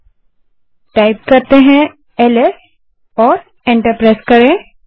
तो LS type करें और एंटर प्रेस करें